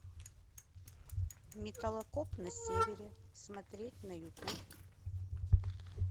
металлокоп на севере смотреть на ютуб